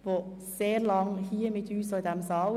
Sie war sehr lange hier bei uns in diesem Saal.